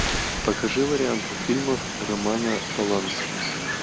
покажи варианты фильмов романа полански